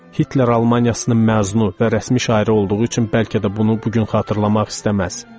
Hitler Almaniyasının məzunu və rəsmi şairi olduğu üçün bəlkə də bunu bu gün xatırlamaq istəməz.